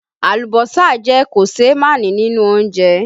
Alùbọ́sà jẹ́ koseemani nínú oúnjẹ